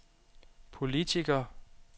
politiker